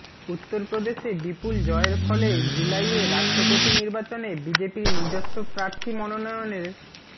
উত্তরপ্রদেশে বিপুল জয়ের ফলে জুলাইয়ে রাষ্ট্রপতি নির্বাচনে বিজেপির নিজস্ব প্রার্থী মনোনয়নের